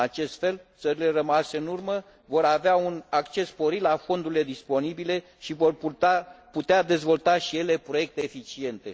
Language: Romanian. În acest fel, țările rămase în urmă vor avea un acces sporit la fondurile disponibile și vor putea dezvolta și ele proiecte eficiente.